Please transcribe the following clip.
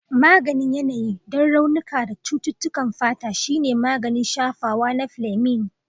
Maganin yanayi don raunuka da cututtukan fata shine maganin shafawa na Fleming.